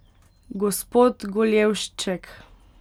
Gospod Goljevšček!